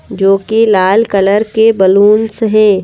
जो कि लाल कलर के बैलूंस हैं।